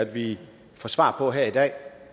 vi får svar på her i dag